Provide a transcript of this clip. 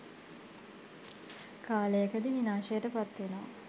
කාලයකදී විනාශයට පත් වෙනවා.